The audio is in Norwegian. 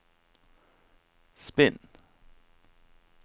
spinn